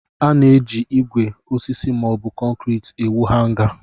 A na-eji ígwè, osisi, maọbụ konkriiti ewu Hanga.